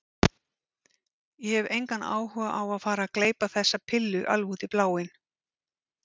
Ég hef engan áhuga á að fara að gleypa þessa pillu alveg út í bláinn.